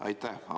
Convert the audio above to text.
Aitäh!